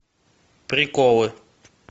приколы